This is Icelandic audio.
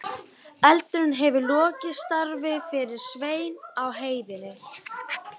Eldurinn hefur lokið störfum fyrir Svein á heiðinni.